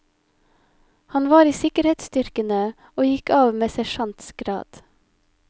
Han var i sikkerhetsstyrkene, og gikk av med sersjants grad.